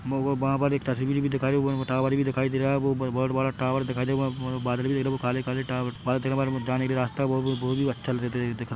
मोको वहाँ पर एक तस्वीर भी दिखाई ऊपर टावर भी दिखाई दे रहा है बो बहुत बड़ा टाबर दिखाई दे रहा बदल भी दिख रहे कले काले टाबर जाने का रास्ता।